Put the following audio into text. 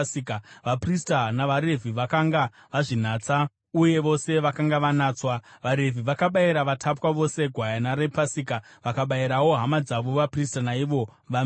Vaprista navaRevhi vakanga vazvinatsa uye vose vakanga vanatswa. VaRevhi vakabayira vatapwa vose gwayana rePasika, vakabayirawo hama dzavo vaprista naivo vamene.